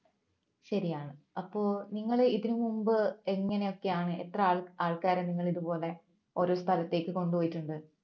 ശരിയാണ് അപ്പോ നിങ്ങൾ ഇതിന് മുമ്പ് എങ്ങനെയൊക്കെയാണ് എത്ര ആൾക്കാരെ നിങ്ങൾ ഇതുപോലെ ഓരോരോ സ്ഥലത്തേക്ക് കൊണ്ടുപോയിട്ടുണ്ട്